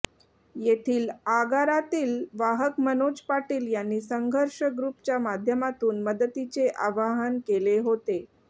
येथील आगारातील वाहक मनोज पाटील यांनी संघर्ष ग्रुपच्या माध्यमातून मदतीचे आवाहन केले होते